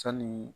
Sanni